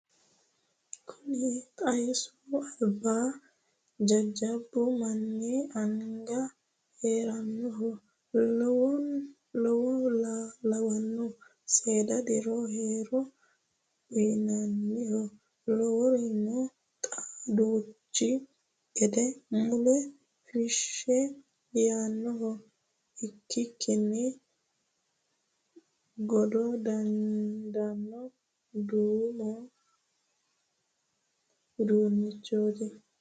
Kuni xaasu alba jajjabbu manni anga heeranoha lawano seeda diro horo uyinoha lawirono xa uduunchi. gede mula feshe yaanoha ikkikkini jado dandano duma uduunchoti.